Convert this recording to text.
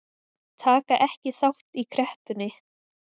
Taka ekki þátt í kreppunni